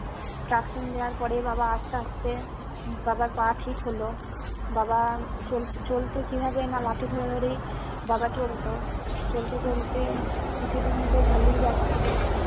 truction দেওয়ার পরে বাবা আস্তে আস্তে বাবার পা ঠিক হলো বাবা চলতো চলতো কিভাবে না লাঠি ধরে ধরে বাবা চলতো চলতে চলতে কিছুদিন তো ভালোই যাচ্ছিলো